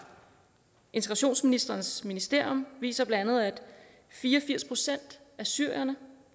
integrationsministerens ministerium viser bla at fire og firs procent af syrerne